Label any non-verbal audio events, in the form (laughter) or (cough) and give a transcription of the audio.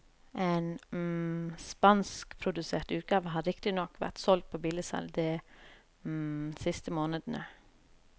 En (hesitation) spanskprodusert utgave har riktignok vært solgt på billigsalg de (hesitation) siste månedene.